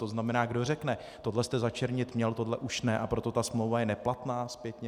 To znamená, kdo řekne: tohle jste začernit měl, tohle už ne, a proto ta smlouva je neplatná zpětně.